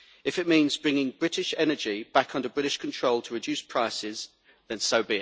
If it means bringing British energy back under British control to reduce prices, then so